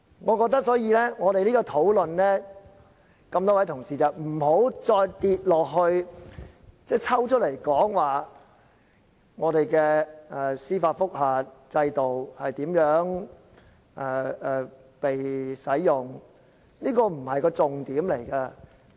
我覺得這次我們辯論，各位同事不要只集中討論我們的司法覆核制度如何被使用，這不是重點。